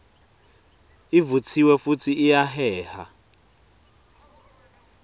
ivutsiwe futsi iyaheha